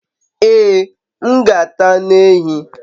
Ee, m g'ata anu ehi